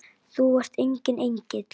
Þú ert enginn engill.